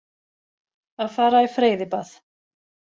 Að fara í freyðibað.